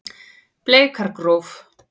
Bleikargróf